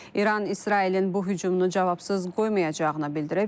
İran İsrailin bu hücumunu cavabsız qoymayacağını bildirib.